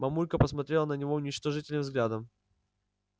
мамулька посмотрела на него уничижительным взглядом